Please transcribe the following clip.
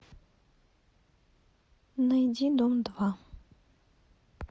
найди дом два